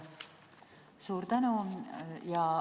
Suur tänu!